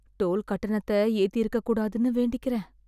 Toll கட்டணத்த ஏத்தியிருக்கக் கூடாதுன்னு வேண்டிக்கிறேன்.